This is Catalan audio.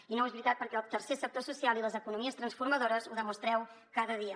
i no és veritat perquè el tercer sector social i les economies transformadores ho demostreu cada dia